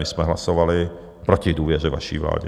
My jsme hlasovali proti důvěře vaší vládě.